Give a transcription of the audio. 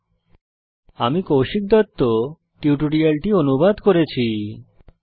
http spoken tutorialorgnmeict intro আমি কৌশিক দত্ত এই টিউটোরিয়ালটি অনুবাদ করেছি